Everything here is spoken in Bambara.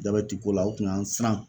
Jabɛti ko la o kun y'an siran